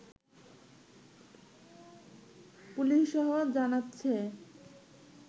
পুলিশও জানাচ্ছে